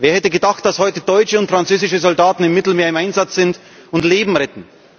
Wer hätte gedacht, dass heute deutsche und französische Soldaten im Mittelmeer im Einsatz sind und Leben retten?